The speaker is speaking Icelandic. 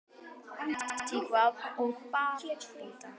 Antígva og Barbúda